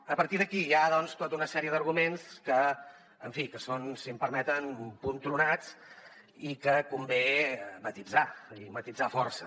a partir d’aquí hi ha doncs tota una sèrie d’arguments que en fi són si m’ho permeten un punt tronats i que convé matisar i matisar força